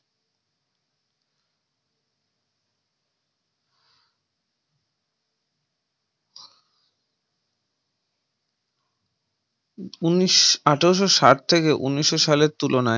উন্নিশ আঠারোশো শাত থেকে উনিশশো সালের তুলনায়